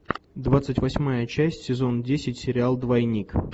двадцать восьмая часть сезон десять сериал двойник